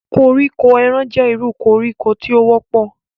Koriko eran jẹ iru koriko ti o wọpọ.